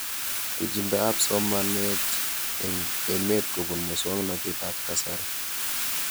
Pichindo ab somanet eng' emet kopun muswog'natet ab kasari